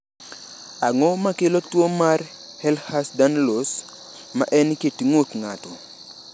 Ang’o ma kelo tuwo mar Ehlers Danlos, ma en kit ng’ut ng’ato?